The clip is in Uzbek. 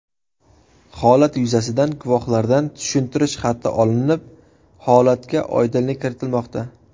Holat yuzasidan guvohlardan tushuntirish xati olinib, holatga oydinlik kiritilmoqda.